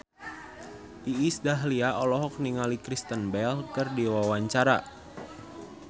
Iis Dahlia olohok ningali Kristen Bell keur diwawancara